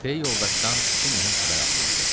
Pey yoldaşdan iki mühüm xəbər alınmışdı.